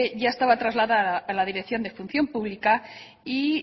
ya estaba trasladada a la dirección de función pública y